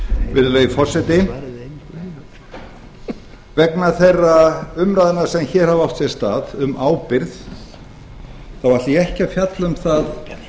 virðulegi forseti vegna þeirra umræðna sem hér hafa átt sér stað um ábyrgð þá ætla ég ekki að fjalla um það